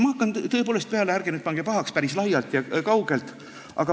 Ma hakkan nüüd tõepoolest peale – ärge pange pahaks – päris kaugelt.